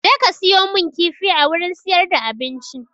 Jeka siyo mun kifi a wurin siyar da abinci!